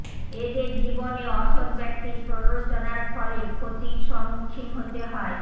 এদের জীবনে অসৎ ব্যক্তির প্ররোচনার ফলে ক্ষতির সম্মুখিন হতে হয়